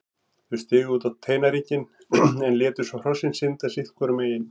Þau stigu út á teinæringinn en létu hrossin synda sitt hvoru megin.